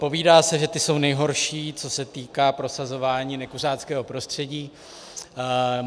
Povídá se, že ti jsou nejhorší, co se týká prosazování nekuřáckého prostředí.